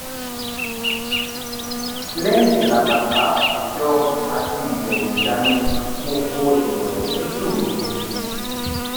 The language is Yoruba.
lẹyìn ìlàkàka òjọ àti ìbẹwò ìyanu mo fo ìwẹ òtútù mi